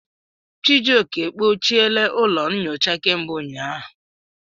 Chijioke, kpochiela ụlọ nyocha kemgbe ụnyahụ.